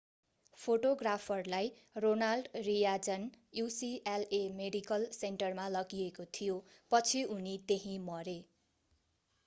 फोटोग्राफरलाई ronald reagan ucla medical सेन्टरमा लगिएको थियो पछि उनी त्यहीँमरे